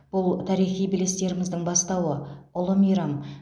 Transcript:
бұл тарихи белестеріміздің бастауы ұлы мейрам